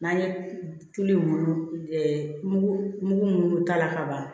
N'an ye tulu mugu mugu mun ta ka ban